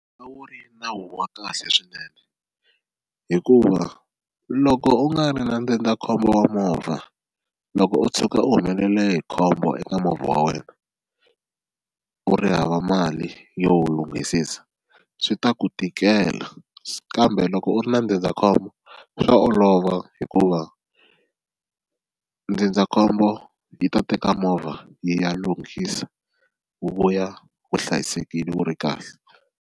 A wu ri nawu wa kahle swinene hikuva loko u nga ri na ndzindzakhombo wa movha loko u tshuka u humelele hi khombo eka movha wa wena u ri hava mali yo wu lunghisisa swi ta ku tikela kambe loko u ri na ndzindzakhombo swa olova hikuva ndzindzakhombo yi ta teka movha yi ya lunghisa wu vuya wu hlayisekile wu ri kahle.